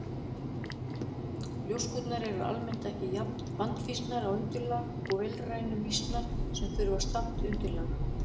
Ljóskurnar eru almennt ekki jafn vandfýsnar á undirlag og vélrænu mýsnar sem þurftu stamt undirlag.